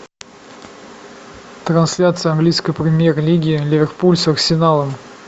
трансляция английской премьер лиги ливерпуль с арсеналом